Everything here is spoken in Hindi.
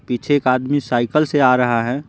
पीछे एक आदमी साइकिल से आ रहा है।